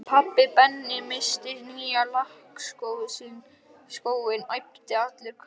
Pabbi, Benni missti nýja lakkskóinn æpti allur krakkaskarinn.